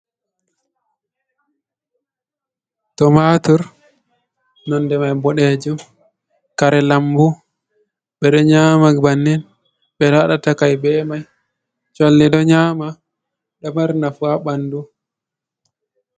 Tomatur nonde mai boɗejum, kare lambu ɓe ɗo nyama bannin ɓe ɗo waɗa takai be mai, cholli ɗo nyama, ɗo mari nafu ha ɓandu.